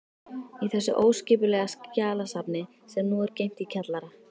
Í þessu óskipulega skjalasafni, sem nú er geymt í kjallara